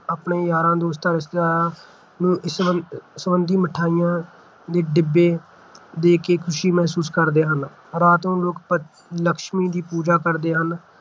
ਆਪਣੇ ਯਾਰਾਂ ਦੋਸਤਾਂ, ਰਿਸ਼ਤੇਦਾਰਾਂ ਨੂੰ ਇਸ ਮਿਠਾਈਆ ਦੇ ਡਿੱਬੇ ਦੇ ਕੇ ਖੁਸ਼ੀ ਮਹਿਸੂਸ ਕਰਦੇ ਹਨ । ਰਾਤ ਨੂੰ ਲੋਕ ਪ ਲੱਛਮੀ ਦੀ ਪੂਜਾ ਕਰਦੇ ਹਨ